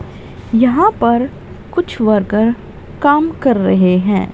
यहां पर कुछ वर्कर काम कर रहे हैं।